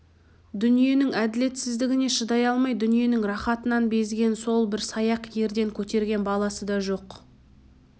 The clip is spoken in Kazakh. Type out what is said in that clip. дүниенің әділетсіздігіне шыдай алмай дүниенің рахатынан безген сол бір саяқ ерден көтерген баласы да жоқ